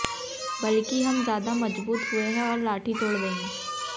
बल्कि हम ज्यादा मजबूत हुए हैं और लाठी तोड़ देंगे